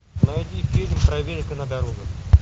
найди фильм проверка на дорогах